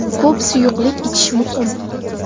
Ko‘p suyuqlik ichish muhim.